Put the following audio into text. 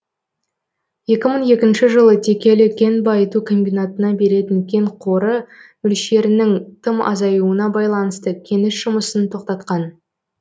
екі мың екінші жылы текелі кен байыту комбинатына беретін кен қоры мөлшерінің тым азаюына байланысты кеніш жұмысын тоқтатқан